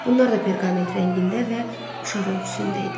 Bunlar da perqament rəngində və uşaq ölçüsündə idi.